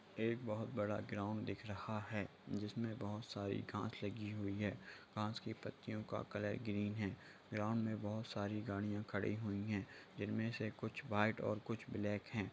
एक बहुत बड़ा ग्राउंड दिख रहा है जिसमे बहुत सारी घास लगी हुई है घास की पत्तियों का कलर ग्रीन है ग्राउंड में बहुत सारी गाड़िया खड़ी हुई है जिनमे से कुछ वाइट और कुछ ब्लैक है।